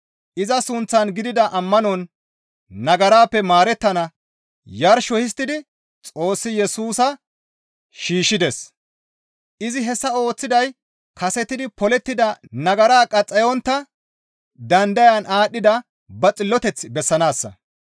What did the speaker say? Iza suuththan gidida ammanon nagarappe maarettana yarsho histtidi Xoossi Yesusa shiishshides; izi hessa ooththiday kasetidi polettida nagara qaxxayontta dandayan aadhdhida ba xilloteth bessanaassa.